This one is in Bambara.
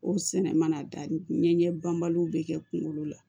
O sɛnɛ mana da ɲɛ banbaliw bɛ kɛ kunkolo la